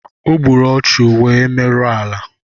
Ogburu ọchu wee merụọ ala